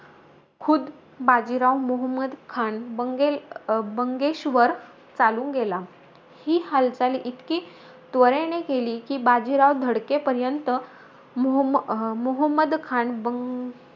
खुद्द बाजीराव, मोहमद्द खान बंगेल बंगेश वर चालून गेला. ही हालचाल, इतकी त्वरेने केली की, बाजीराव धडकेपर्यंत मोह मोहमद्द खान बं,